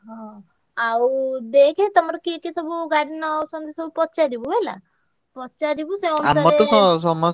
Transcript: ହଁ, ଆଉ ଦେଖେ ତମର କିଏ କିଏ ସବୁ ଗାଡି ନଉଛନ୍ତି ସବୁ ପଚାରିବୁ ହେଲା। ପଚା~ ରିବୁ~ ସେ ।